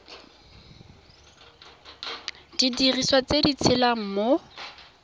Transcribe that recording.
didiriswa tse di tshelang mo